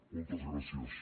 moltes gràcies